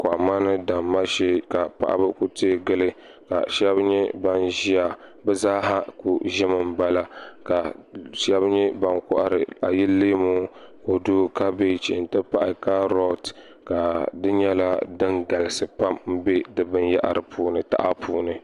Kɔhimma ni damma shɛɛ ka ku tɛɛ gili ka shɛba nyɛ bani ziya bi zaaha kuli zimi n bala ka shɛba nyɛ bani kɔhiri ayili leemu kodu kabɛgi nti pahi karɔti ka di nyɛla dini galisi pam mbɛ di bini yahari puuni taha puuni.